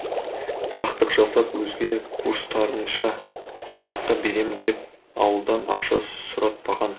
сақтық жасап өзге курстастарынша сынаққа беремін деп ауылдан ақша сұратпаған